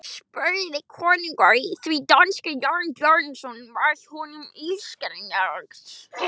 spurði konungur því danska Jóns Bjarnasonar var honum illskiljanleg.